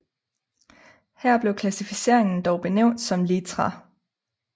Her blev klassificeringen dog benævnt som litra